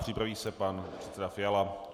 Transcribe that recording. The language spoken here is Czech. Připraví se pan předseda Fiala.